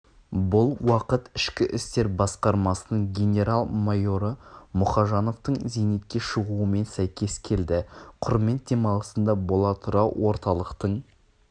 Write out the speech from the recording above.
бұл уақыт ішкі істер басқармасының генерал-майоры мұхажановтың зейнетке шығуымен сәйкес келді құрмет демалысында бола тұра орталықтың